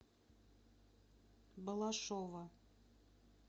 балашова